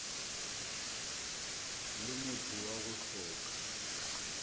le motho wa go hloka